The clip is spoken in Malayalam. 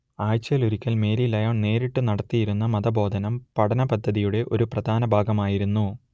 ആഴ്ചയിലൊരിക്കൽ മേരി ലയോൺ നേരിട്ടു നടത്തിയിരുന്ന മതബോധനം പഠനപദ്ധതിയുടെ ഒരു പ്രധാന ഭാഗമായിരുന്നു